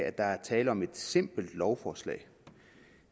at der er tale om et simpelt lovforslag